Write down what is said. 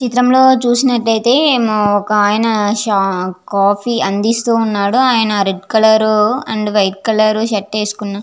ఈ చిత్రం లో చూసినట్టు అయితే ఒక ఆయన కాఫీ అందిస్తూ ఉన్నాడు ఆయన రెడ్ కలర్ షర్ట్ వేసుకున్న --